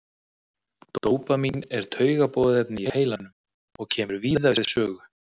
Dópamín er taugaboðefni í heilanum og kemur víða við sögu.